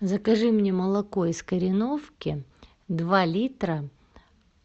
закажи мне молоко из кореновки два литра